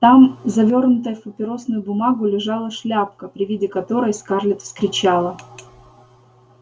там завёрнутая в папиросную бумагу лежала шляпка при виде которой скарлетт вскричала